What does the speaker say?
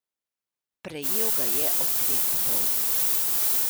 Prejel ga je ob dveh popoldne.